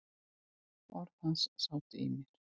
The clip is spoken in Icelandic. Orð hans sátu í mér.